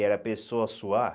Era a pessoa suar?